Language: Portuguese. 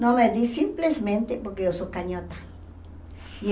Não me dei simplesmente porque eu sou canhota. E